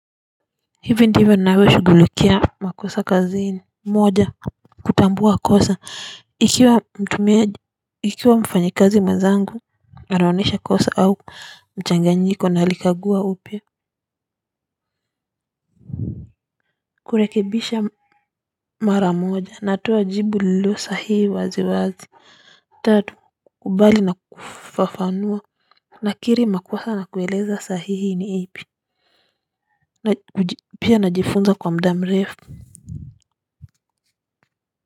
Hivi ndivyo ninavyo shughulikia makosa kazini moja kutambua kosa ikiwa mfanyi kazi mwenzangu anaonyesha kosa au mchanganyiko na alikagua upya kurekebisha mara moja natoa jibu lililo sahihi wazi wazi tatu kukubali na kufafanua nakiri makosa nakueleza sahihi ni ipi pia najifunza kwa muda mrefu.